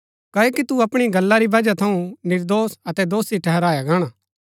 क्ओकि तू अपणी गल्ला री ही बजह थऊँ निर्दोष अतै दोषी ठहराया गाणा